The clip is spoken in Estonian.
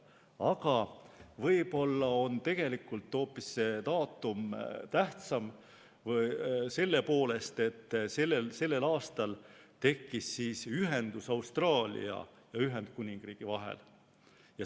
Aga võib-olla on see daatum tegelikult tähtsam hoopis selle poolest, et sellel aastal tekkis ühendus Austraalia ja Ühendkuningriigi vahel.